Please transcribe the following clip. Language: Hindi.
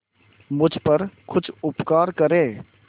मुझ पर कुछ उपकार करें